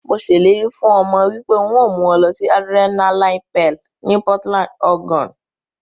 Mo se ileri fun omo wipe n o mu won losi Adrenaline Peal ni Portland, Oregon.